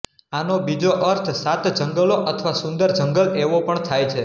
આનો બીજો અર્થ સાત જંગલોઅથવા સુંદર જંગલ એવો પણ થાય છે